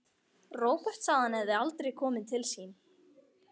Róbert sagði að hann hefði aldrei komið til sín.